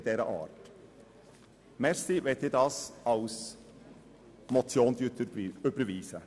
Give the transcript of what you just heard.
Danke, wenn Sie diesen Vorstoss als Motion überweisen.